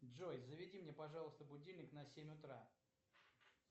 джой заведи мне пожалуйста будильник на семь утра